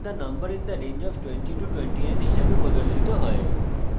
you have entered the number in the range of 2029 হিসাবে প্রদর্শিত হয়েছে